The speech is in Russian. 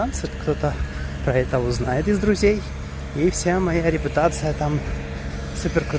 кто-то поэтому знает из друзей и вся моя репутация там